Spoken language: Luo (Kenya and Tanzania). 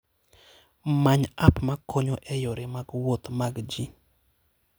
Many app ma konyo e yore mag wuoth mag ji.